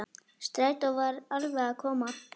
Strætó var alveg að koma.